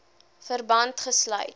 verband gesluit